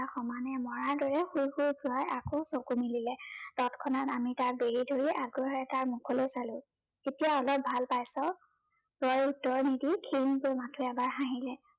সমানে মৰাৰ দৰে শুই শুই জয়ে আকৌ চকু মেলিলে, তৎক্ষণাত আমি তাক বেঢ়ি ধৰি আগ্ৰহেৰে তাৰ মুখলৈ চালো। এতিয়া অলপ ভাল পাইছ? জয়ে উত্তৰ নিদি ক্ষীণকৈ মাথো এবাৰ হাঁহিলে